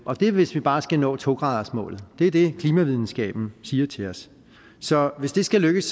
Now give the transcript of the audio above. og det er hvis vi bare skal nå to gradersmålet det er det klimavidenskaben siger til os så hvis det skal lykkes